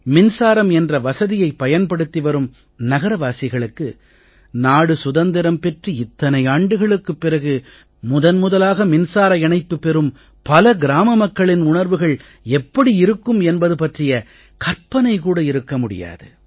மின்சாரம் என்ற வசதியைப் பயன்படுத்தி வரும் நகர வாசிகளுக்கு நாடு சுதந்திரம் பெற்று இத்தனை ஆண்டுகளுக்குப் பிறகு முதன் முதலாக மின்சார இணைப்பு பெறும் பல கிராம மக்களின் உணர்வுகள் எப்படி இருக்கும் என்பது பற்றிய கற்பனை கூட இருக்க முடியாது